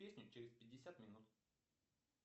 песни через пятьдесят минут